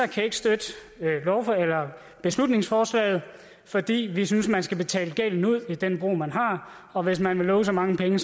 kan ikke støtte beslutningsforslaget fordi vi synes man skal betale gælden ud i den bro man har og hvis man lover så mange penge